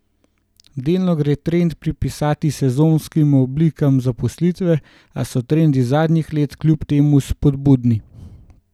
Delno gre trend pripisati sezonskim oblikam zaposlitve, a so trendi zadnjih let kljub temu spodbudni.